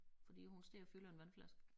Fordi hun står og fylder en vandflaske